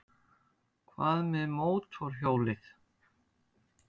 Hvað með mótorhjólið?